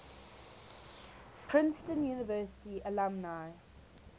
princeton university alumni